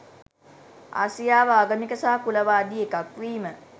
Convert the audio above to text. ආසියාව ආගමික සහ කුලවාදී එකක් වීම.